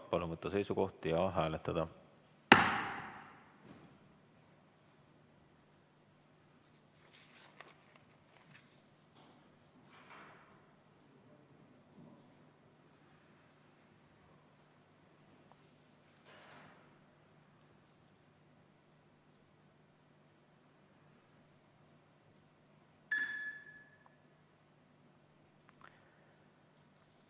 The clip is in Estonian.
Palun võtta seisukoht ja hääletada!